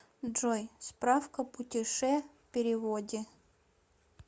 джой справка путеше переводе